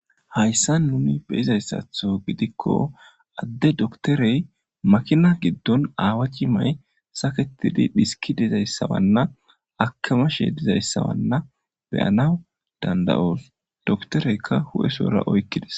Hyssa nuni beyizayssatho gidikko adde doktorey makina giddon aawa cimay saketidi dhiski dizayssawanna akamashe dizayssawanna beyanaw danda7oos doktoreykka hu7esora oykkides,